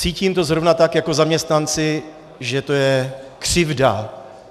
Cítím to zrovna tak jako zaměstnanci, že to je křivda.